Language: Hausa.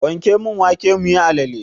Wanke mun wake muyi alale!